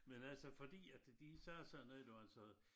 Men altså fordi at de sagde sådan noget der så